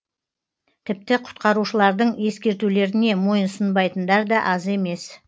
тіпті құтқарушылардың ескертулеріне мойынсұнбайтындар да аз емес